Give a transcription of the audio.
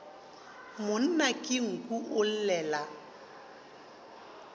monna ke nku o llela